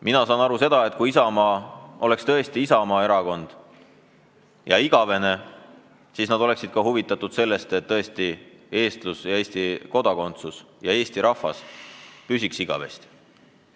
Mina saan aru, et kui Isamaa oleks tõesti isamaaerakond ja igavene, siis nad oleksid huvitatud sellest, et eestlus ja Eesti kodakondsus ja eesti rahvas püsiks igavesti.